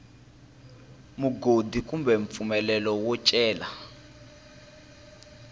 mugodi kumbe mpfumelelo wo cela